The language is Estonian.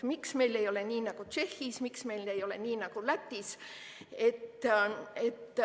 Miks meil ei ole nii nagu Tšehhis, miks meil ei ole nii nagu Lätis?